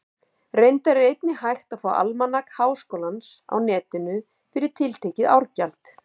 Reyndar er einnig hægt að fá Almanak Háskólans á Netinu, fyrir tiltekið árgjald.